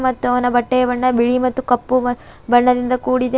ಮತ್ತು ಅವನ ಬಟ್ಟೆಯ ಬಣ್ಣ ಬಿಳಿ ಮತ್ತು ಕಪ್ಪು ಮತ್ತು ಬಣ್ಣದಿಂದ ಕೂಡಿದೆ ಮ--